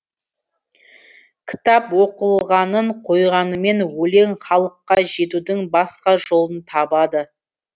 кітап оқылғанын қойғанымен өлең халыққа жетудің басқа жолын табады